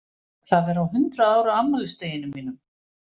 Það er á hundrað ára afmælisdeginum mínum!